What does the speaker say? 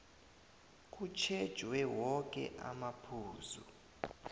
kutjhejwe woke amaphuzu